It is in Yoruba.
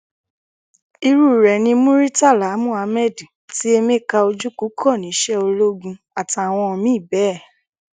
irú rẹ̀ ni muritàlá muhammed tí emeka ojukwu kọ́ níṣẹ ológun àtàwọn míì bẹ́ẹ̀